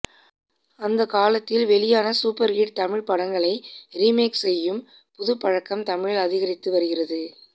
அந்தக் காலத்தில் வெளியான சூப்பர் ஹிட் தமிழ் படங்களை ரீமேக் செய்யும் புதுப் பழக்கம் தமிழில் அதிகரித்து வருகிறது